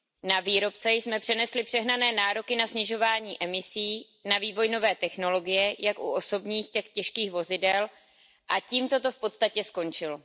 Na výrobce jsme přenesli přehnané nároky na snižování emisí, na vývoj nové technologie jak u osobních, tak těžkých vozidel a tím to v podstatě skončilo.